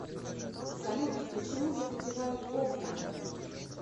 салют почему запотевают окна